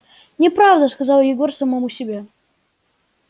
неправда сказал егор самому себе